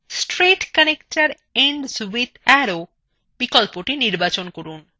straight connector ends with arrow বিকল্পthe নির্বাচন করুন